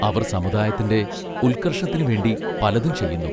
അവർ സമുദായത്തിന്റെ ഉൽക്കർഷത്തിനു വേണ്ടി പലതും ചെയ്യുന്നു.